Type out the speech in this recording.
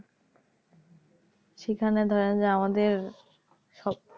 সেখানে ধরেন যে আমাদের সব